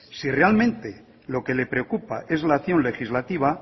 si realmente lo que le preocupa es la acción legislativa